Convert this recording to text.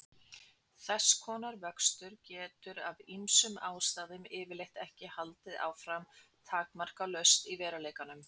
Þess konar vöxtur getur af ýmsum ástæðum yfirleitt ekki haldið áfram takmarkalaust í veruleikanum.